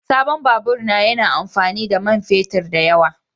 Sabon babur na yana amfani da man fetur da yawa